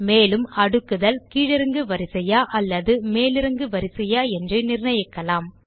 மேலும் அடுக்குதல் கீழிறங்கு வரிசையா அல்லது மேலேறு வரிசையா என்று நிர்ணயிக்கலாம்